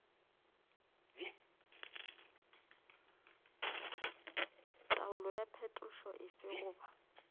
taolo ya phetošo efe goba